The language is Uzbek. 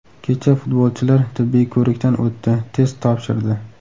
Kecha futbolchilar tibbiy ko‘rikdan o‘tdi, test topshirdi.